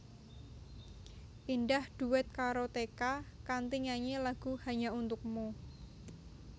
Indah dhuet karo Teka kanthi nyanyi lagu Hanya Untukmu